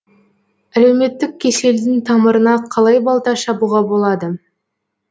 әлеуметтік кеселдің тамырына қалай балта шабуға болады